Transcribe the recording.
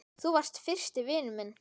Þú varst fyrsti vinur minn.